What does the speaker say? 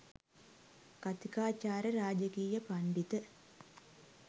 කථිකාචාර්ය ‍රාජකීය පණ්ඩිත